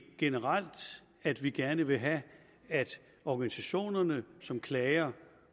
generelt at vi gerne vil have at organisationerne som klager